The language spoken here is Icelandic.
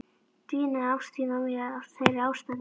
Dvínaði ást þín á mér af þeirri ástæðu?